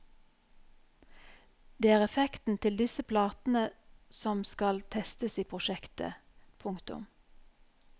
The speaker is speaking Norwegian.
Det er effekten til disse platene som skal testes i prosjektet. punktum